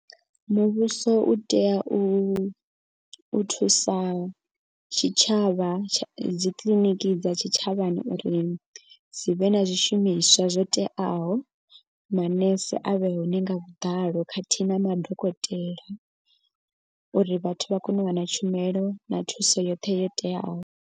Muvhuso u tea u thusa tshitshavha dzikiḽiniki dza tshitshavhani uri dzi vhe na zwishumiswa zwo teaho. Manese a vhe hone nga vhuḓalo khathihi na madokotela. Uri vhathu vha kone u wana tshumelo na thuso yoṱhe yo teaho.